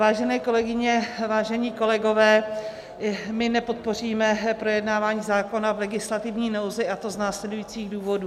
Vážené kolegyně, vážení kolegové, my nepodpoříme projednávání zákona v legislativní nouzi, a to z následujících důvodů.